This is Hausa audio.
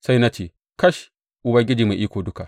Sai na ce, Kash, Ubangiji Mai Iko Duka!